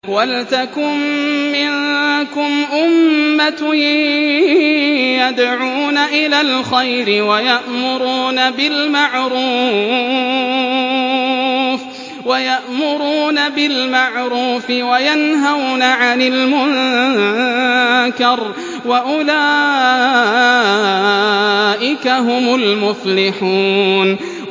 وَلْتَكُن مِّنكُمْ أُمَّةٌ يَدْعُونَ إِلَى الْخَيْرِ وَيَأْمُرُونَ بِالْمَعْرُوفِ وَيَنْهَوْنَ عَنِ الْمُنكَرِ ۚ وَأُولَٰئِكَ هُمُ الْمُفْلِحُونَ